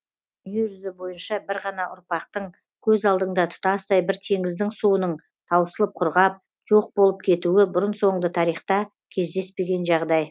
дүние жүзі бойынша бір ғана ұрпақтың көз алдыңда тұтастай бір теңіздің суының таусылып құрғап жоқ болып кетуі бұрын соңды тарихта кездеспеген жағдай